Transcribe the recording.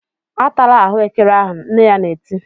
"Atala ahụekere ahụ!" Nne ya na-eti.